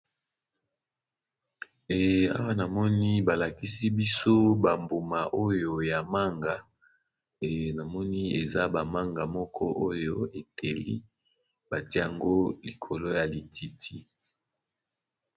e awa namoni balakisi biso bambuma oyo ya manga e namoni eza bamanga moko oyo eteli batia yango likolo ya lititi